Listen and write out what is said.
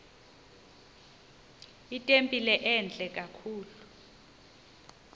itempile entle kakhulu